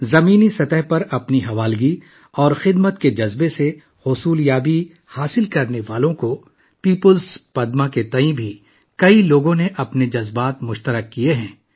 بہت سے لوگوں کو دیئے جانے والے پدم ایوارڈ کے بارے میں اپنے خیالات کو بھی شیئر کیا ہے جنہوں نے بنیادی سطح پر اپنی لگن اور خدمات کے ذریعے یہ ایوارڈ حاصل کیا